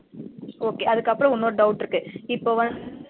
Okay அதுக்கு அப்பறம் இன்னொரு doubt இருக்கு இப்ப வந்து